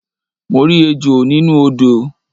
Mo rí ejò nínú odò